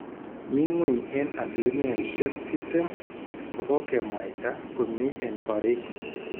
Mi ngweny en asilimiaishek tiptem kogokemwaita komi en korik